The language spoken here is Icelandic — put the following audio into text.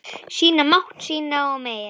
Sýna mátt sinn og megin.